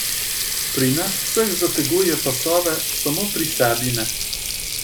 Pri nas vseh zateguje pasove, samo pri sebi ne.